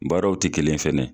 Baaraw ti kelen ye fɛnɛ